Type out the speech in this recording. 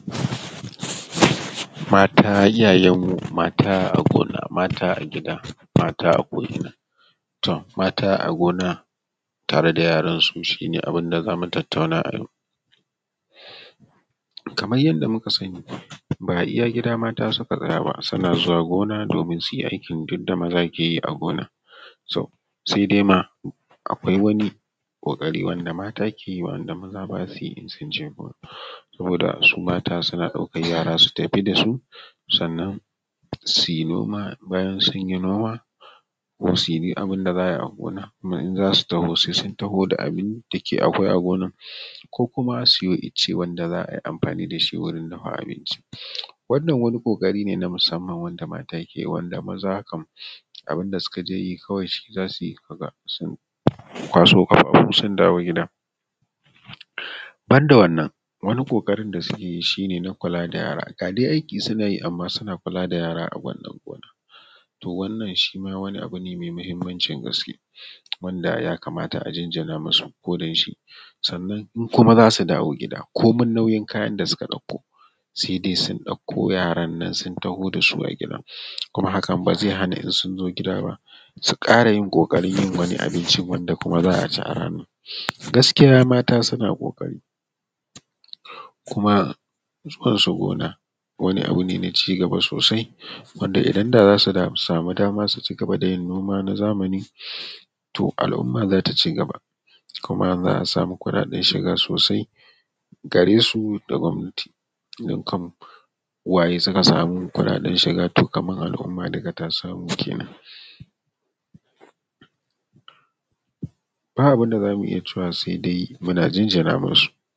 Mata iyayen mu, mata a gona, mata a gida, mata a ko ina. To mata a gona tare da yaran su, shi ne abunda zamu tattauna a yau. Kaman yanda muka sani, ba iya gida mata suka tsaya ba, sannan suna zuwa gona domin duyi aikin duk da maza keyi a gona, so sai dai ma akwai wani ƙoƙari wanda mata keyi wa’anda maza basuyi in sun je gona, saboda su mata suan ɗaukan yara su tafi da su, sannan su yi noma, bayan sunyi noma, kuma suyi duk abun da za ayi a gona, kuma in zasu taho sai sun taho da abunda ke akwai a gonar, ko kuma su yo ice wanda za ayi amfani dashi wurin dafa abinci. Wannan wani ƙoƙari ne na musamman, wanda mata keyi wanda maza kam abun da suka je yi kawai shi zasuyi, ka ga sun kwaso ƙafafu sun dawo gida. Banda wannan, wani ƙoƙarin da suke yi shi ne na kula da yara, ga dai aiki suna yi amma suna kula da yara a wannan gonar, to wannan shima wani abu ne mai muhimmancin gaske, wanda ya kamata a jinjina musu ko don shi. Sannan in kuma zasu dawo gida, komai nauyin kayan da suka ɗauko, sai dai sun ɗauko yaran nan sun taho da su a gida, kuma hakan bazai hana in sun zo gida basu ƙara yin ƙoƙarin yin wani abincin, wanda kuma za a ci a ranan, gaskiya mata suna ƙoƙari. Kuma zuwan su gona wani abu ne na cigaba sosai, wanda idan da zasu samu dama su cigaba da yin noma na zamani, to al’umma zata cigaba, kuma za a samu kuɗaɗen shiga sosai gare su da gwamnati, don kam uwaye suka samu kuɗaɗen shiga to kaman al’umma dukka ta samu kenan. Ba abunda zamu iya cewa sai dai muna jinjina musu.